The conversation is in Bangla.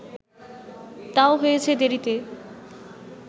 তাও হয়েছে দেরিতে